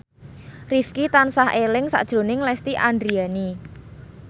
Rifqi tansah eling sakjroning Lesti Andryani